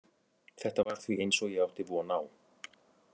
Þetta var því eins og ég átti von á.